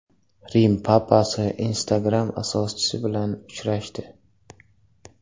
Rim papasi Instagram asoschisi bilan uchrashdi.